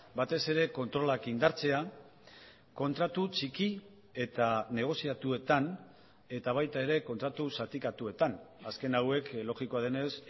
batez ere kontrolak indartzea kontratu txiki eta negoziatuetan eta baita ere kontratu zatikatuetan azken hauek logikoa denez